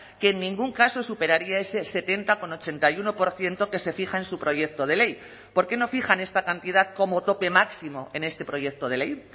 que en ningún caso superaría ese setenta coma ochenta y uno por ciento que se fija en su proyecto de ley por qué no fijan esta cantidad como tope máximo en este proyecto de ley